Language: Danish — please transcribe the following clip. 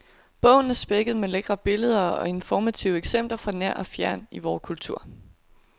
Bogen er spækket med lækre billeder og informative eksempler fra nær og fjern i vor kultur.